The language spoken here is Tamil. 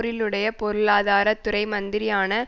பேர்லினுடைய பொருளாதார துறை மந்திரியான